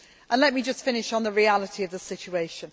Let me finish on the reality of the situation.